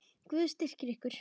Guð styrki ykkur.